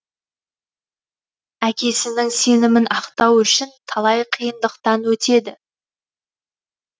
әкесіңін сенімін ақтау үшін талай қиындықтан өтеді